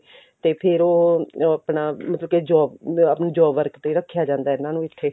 ਤੇ ਫਿਰ ਉਹ ਆਪਣਾ ਮਤਲਬ ਕੀ job ਅਹ job work ਤੇ ਰੱਖਿਆ ਜਾਂਦਾ ਉਹਨਾ ਨੂੰ ਇੱਥੇ